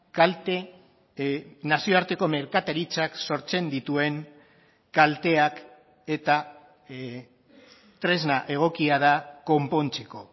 kalte nazioarteko merkataritzak sortzen dituen kalteak eta tresna egokia da konpontzeko